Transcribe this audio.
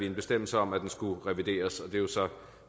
en bestemmelse om at den skulle revideres